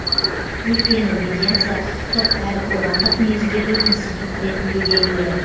өйткені медиация құқықтық әрі қоғамдық негіздегі институт ретінде белгілі